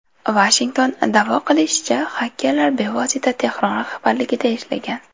Vashington da’vo qilishicha, xakerlar bevosita Tehron rahbarligida ishlagan.